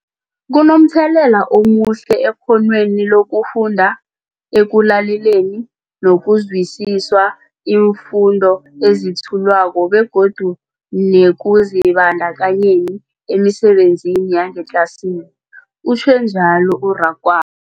Kunomthelela omuhle ekghonweni lokufunda, ekulaleleni nokuzwisiswa iimfundo ezethulwako begodu nekuzibandakanyeni emisebenzini yangetlasini, utjhwe njalo u-Rakwa